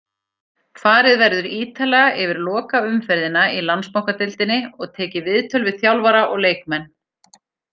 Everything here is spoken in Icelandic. Farið verður ítarlega yfir lokaumferðina í Landsbankadeildinni og tekið viðtöl við þjálfara og leikmenn.